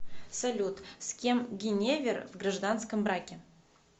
салют с кем гиневер в гражданском браке